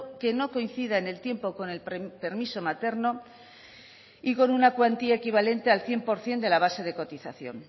que no coincida en el tiempo con el permiso materno y con una cuantía equivalente al cien por ciento de la base de cotización